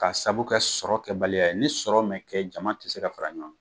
Ka sabu kɛ sɔrɔ kɛbaliya ye . Ni sɔrɔ ma kɛ jama ti se ka fara ɲɔgɔn